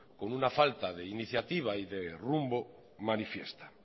con una falta de iniciativa y de rumbo manifiesta